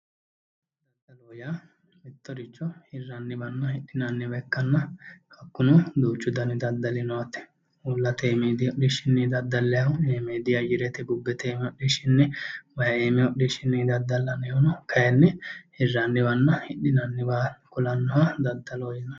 Daddallo, daddallo yaa mittoricho hiraniwanna hidhinanniwa ikkanna hakkuno duuchu danni daddalli noo yaate ,uullate iimidi hodhishinni daddallanihu iimidi ayarete bubete hodhishinni ,waayi iimi hodhishinni daddallaniho kayinni hiranniwanna hidhinanniwa kulanoho daddallu yaa